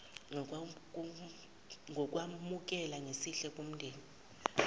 ngokwamukela ngesihle wumndeni